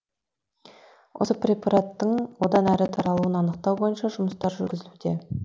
осы препараттың одан әрі таралуын анықтау бойынша жұмыстар жүргізілуде